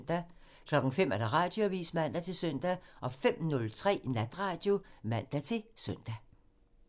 05:00: Radioavisen (man-søn) 05:03: Natradio (man-søn)